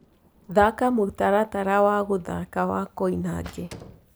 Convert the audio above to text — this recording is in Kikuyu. thaka mũtaratara wa guthaka wa koinange